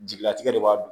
Jigilatigɛ de b'a